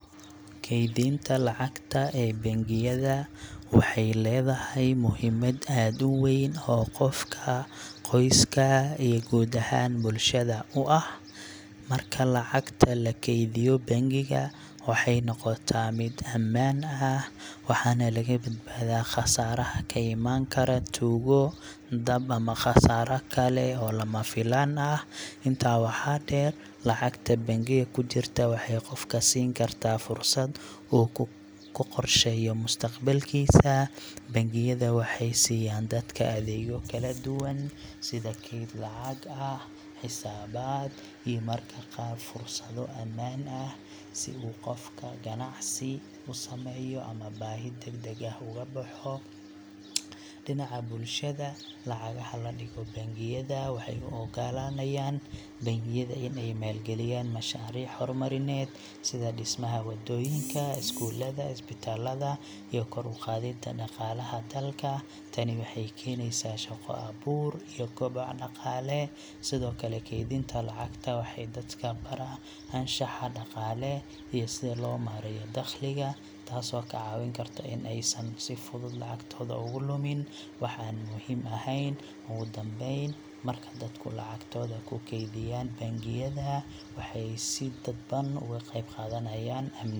Kaydinta lacagta ee bangiyada waxay leedahay muhiimad aad u weyn oo qofka, qoyska, iyo guud ahaan bulshada u ah. Marka lacagta lagu keydiyo bangiga, waxay noqotaa mid ammaan ah, waxaana laga badbaadaa khasaaraha ka imaan kara tuugo, dab, ama khasaaro kale oo lama filaan ah. Intaa waxaa dheer, lacagta bangiga ku jirta waxay qofka siin kartaa fursad uu ku qorsheeyo mustaqbalkiisa. Bangiyada waxay siiyaan dadka adeegyo kala duwan sida kayd lacag ah, xisaabaad, iyo mararka qaar fursado amaah ah si qofku ganacsi u sameeyo ama baahi degdeg ah uga baxo. Dhinaca bulshada, lacagaha la dhigo bangiyada waxay u oggolaanayaan bangiyada in ay maalgeliyaan mashaariic horumarineed sida dhismaha wadooyinka, iskuullada, isbitaallada iyo kor u qaadidda dhaqaalaha dalka. Tani waxay keenaysaa shaqo abuur iyo kobac dhaqaale. Sidoo kale, kaydinta lacagta waxay dadka baraa anshaxa dhaqaale iyo sida loo maareeyo dakhliga, taasoo ka caawin karta in aysan si fudud lacagtooda ugu lumin wax aan muhiim ahayn. Ugu dambayn, marka dadku lacagtooda ku keydiyaan bangiyada, waxay si dadban uga qeybqaadanayaan amniga.